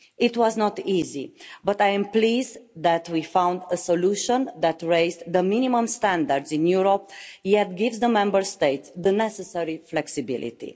It was not easy, but I am pleased that we found a solution that raised the minimum standards in Europe, yet gives the Member States the necessary flexibility.